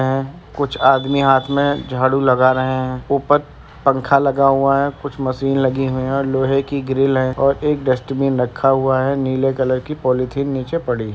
आ कुछ आदमी हाथ में झाड़ू लगा रहे हैं ऊपर पंखा लगा हुआ है कुछ मशीन लगी हुई है और लोहे की ग्रिल है और एक डस्टबिन रखा हुआ है। नीले कलर की पॉलिथीन नीचे पड़ी है।